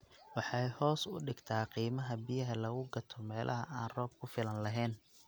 Waxay hoos u dhigtaa qiimaha biyaha lagu gato meelaha aan roob ku filan lahayn.